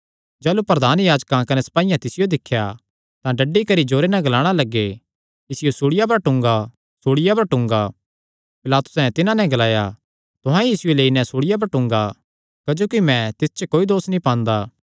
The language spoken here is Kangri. जाह़लू प्रधान याजकां कने सपाईयां तिसियो दिख्या तां डड्डी करी जोरे नैं ग्लाणा लग्गे इसियो सूल़िया पर टूंगा सूल़िया पर टूंगा पिलातुसैं तिन्हां नैं ग्लाया तुहां ई इसियो लेई नैं सूल़िया पर टूंगा क्जोकि मैं तिस च कोई दोस नीं पांदा